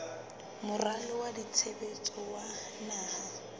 moralo wa tshebetso wa naha